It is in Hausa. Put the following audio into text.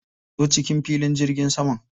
Zo cikin filin jirgin saman.